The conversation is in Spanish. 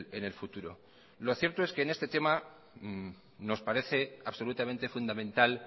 en el futuro lo cierto es que en este tema nos parece absolutamente fundamental